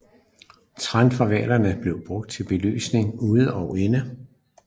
Tran fra hvalerne blev brugt til belysning ude og inde